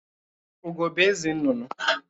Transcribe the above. Ugó bụ eze nnụnụ